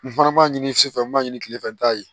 Nin fana b'a ɲini su fɛ n b'a ɲini kilefɛ n ta ye